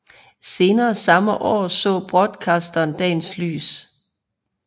Senere samme år så Broadcasteren dagens lys